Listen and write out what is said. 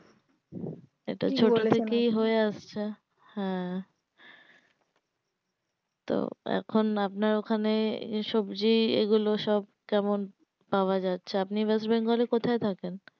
এটা ছোটো থেকেই হয়ে আসছে হ্যাঁ তো এখন আপনার ওখানে এ সবজি এগুলো সব কেমন পাওয়া যাচ্ছে আপনি য়েস্ট বেঙ্গল এ কোথায় থাকেন